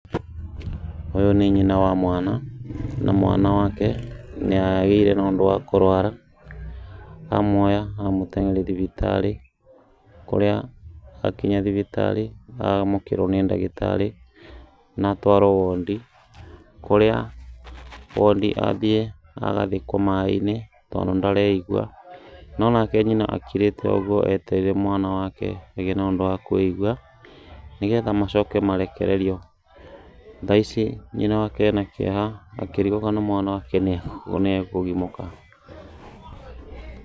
Ũyũ nĩ nyina wa mwana na mwana wake nĩagĩire na ũndũ wa kũrũara, amuoya amũteng'eria thibitarĩ, kũrĩa akinya thibitarĩ, amũkĩrwo nĩ ndagĩtarĩ na atwarwo wondi, kũrĩa wondi athiĩ agathĩkwo maaĩ-inĩ tondũ ndareigwa, no nake nyina akirĩte oũguo etereire mwana wake agĩe na ũndũ wakũigwa, nĩgetha macoke marekererio. Thaa ici nyina wake arĩ na kĩeha akĩrigwo kana mwana wake nĩkũgimũka.